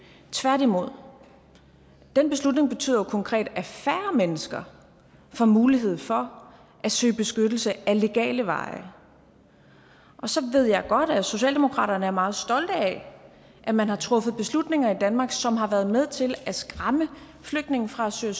tværtimod den beslutning betyder jo konkret at færre mennesker får mulighed for at søge beskyttelse ad legale veje og så ved jeg godt at socialdemokratiet er meget stolte af at man har truffet beslutninger i danmark som har været med til at skræmme flygtninge fra at søge